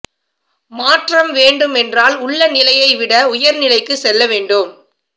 மாற்றம் வேண்டுமென்றால் உள்ள நிலையை விட உயர் நிலைக்கு செல்ல வேண்டும்